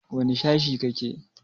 Wane sashe kake?